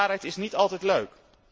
De waarheid is niet altijd leuk.